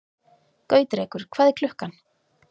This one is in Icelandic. Gautrekur, hvað er klukkan?